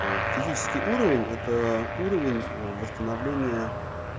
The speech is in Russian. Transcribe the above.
аа физический уровень это уровень ээ восстановления